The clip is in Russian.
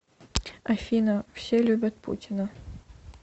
афина все любят путина